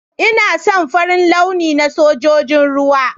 Ina son Farin launi na Sojojin ruwa.